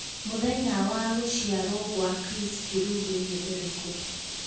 mũthenya wa gũcĩarwo gwa Chris Kirubi ni ũrĩkũ